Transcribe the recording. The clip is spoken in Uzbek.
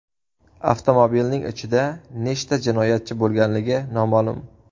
Avtomobilning ichida nechta jinoyatchi bo‘lganligi noma’lum.